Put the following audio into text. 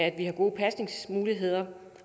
at vi har gode pasningsmuligheder